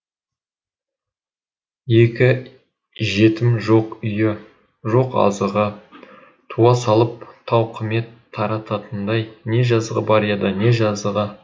екі жетім жоқ үйі жоқ азығы туа салып тауқымет тартатындай не жазығы бар еді не жазығы